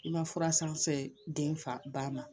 I ma fura san den fa ba ma